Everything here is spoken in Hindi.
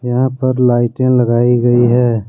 यहा पर लाइटे लगाई गई है।